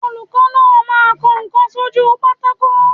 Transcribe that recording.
Olùkọ́ náà máa ń kọ ǹkan sójúu pátákó.